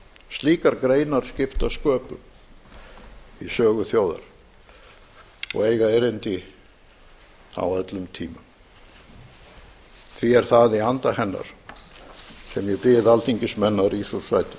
slíkar greinar skipta sköpum í sögu þjóðar og eiga erindi á öllum tímum því er það í anda hennar sem ég bið alþingismenn